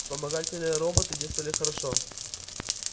вспомогательные роботы действовали хорошо